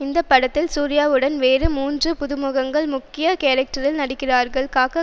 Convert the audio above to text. இந்த படத்தில் சூர்யாவுடன் வேறு மூன்று புதுமுகங்கள் முக்கிய கேரக்டரில் நடிக்கிறார்கள் காக்க